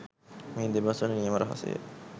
මේ දෙබස්වල නියම රසය